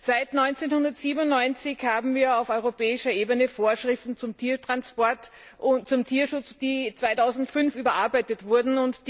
Seit 1997 haben wir auf europäischer Ebene Vorschriften zum Tiertransport und zum Tierschutz, die 2005 überarbeitet wurden.